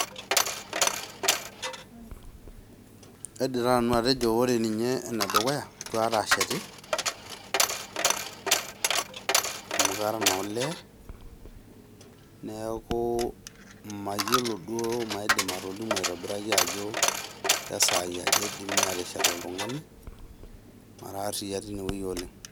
Kaidim taa nanu atejo ore ninye enedukuya eitu aikata aasheti, amu kara naa olee neaku imayiolo ashu maidim atolimu ajo kesaai aja eidimi aateshet oltungani. Neaku imara ariyia oleng.